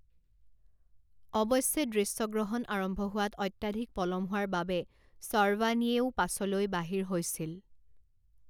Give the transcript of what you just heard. অৱশ্যে দৃশ্যগ্ৰহণ আৰম্ভ হোৱাত অত্যাধিক পলম হোৱাৰ বাবে শৰ্ৱানীয়েও পাছলৈ বাহিৰ হৈছিল।